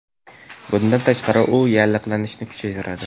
Bundan tashqari u yallig‘lanishni kuchaytiradi.